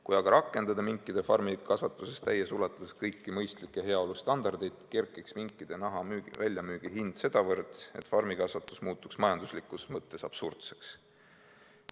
Kui aga rakendada minkide farmikasvatuses täies ulatuses kõiki mõistlikke heaolustandardeid, kerkiks minkide naha väljamüügihind sedavõrd, et farmikasvatus muutuks majanduslikus mõttes absurdseks.